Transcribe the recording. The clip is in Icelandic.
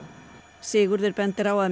Sigurður bendir á að